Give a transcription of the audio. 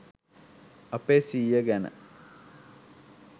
අපේ සීය ගැන